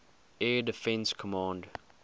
air defense command